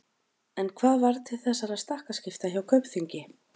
En hvað varð til þessara stakkaskipta hjá Kaupþingi?